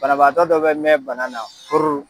Banabaatɔ dɔ bɛ mɛn bana na fururu!